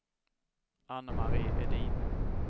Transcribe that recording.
Ann-Marie Edin